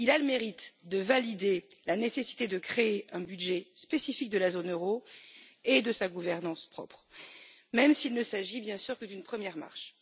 Il a le mérite de valider la nécessité de créer un budget spécifique de la zone euro et de sa gouvernance propre, même s'il ne s'agit, bien sûr, que d'une première marche.